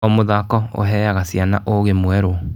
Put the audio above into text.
O mũthako ũheaga ciana ũũgĩ mwerũ.